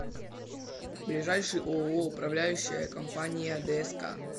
ближайший ооо управляющая компания дск